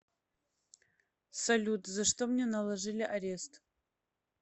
салют за что мне наложили арест